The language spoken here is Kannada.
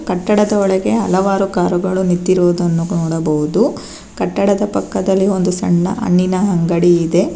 ಕಟ್ಟಡದ ಒಳಗೆ ಹಲವಾರು ಕಾರುಗಳು ನಿತ್ತಿರುವುದನ್ನು ನೋಡಬಹುದು ಕಟ್ಟಡದ ಪಕ್ಕದಲ್ಲಿ ಒಂದು ಸಣ್ಣ ಹಣ್ಣಿನ ಅಂಗಡಿ ಇದೆ.